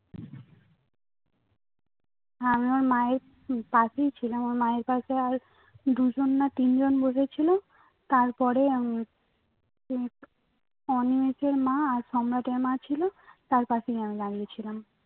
আমি ওর মায়ের পাশেই ছিলাম ওর মায়ের পশে আর দুজন না তিনজন বোধয় ছিল তারপরে আমরা অনিমেষের মা র সম্রাটের মা ছিল তার পাশেই আমি দাঁড়িয়ে ছিলাম